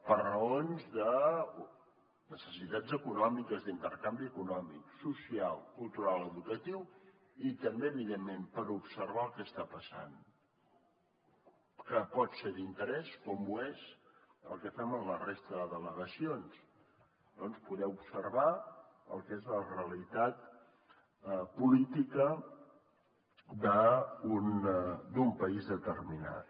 per raons de necessitats econòmiques d’intercanvi econòmic social cultural educatiu i també evidentment per observar el que està passant que pot ser d’interès com ho és el que fem en la resta de delegacions doncs poder observar el que és la realitat política d’un país determinat